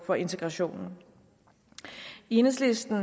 for integrationen i enhedslisten